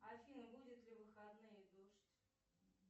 афина будет ли в выходные дождь